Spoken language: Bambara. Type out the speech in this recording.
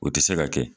O tɛ se ka kɛ